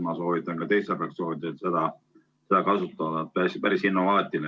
Ma soovitan ka teistel fraktsioonidel seda kasutada, päris innovaatiline.